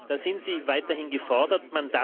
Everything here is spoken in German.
Da sind Sie weiterhin gefordert.